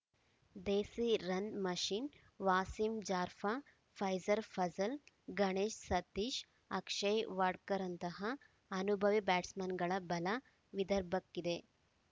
ದೇಸಿ run machine Wasim Jaffer Faiz Fazal Ganesh Satish Akshay ವಾಡ್ಕರ್‌ರಂತಹ ಅನುಭವಿ ಬ್ಯಾಟ್ಸ್‌ಮನ್‌ಗಳ ಬಲ ವಿದರ್ಭಕ್ಕಿದೆ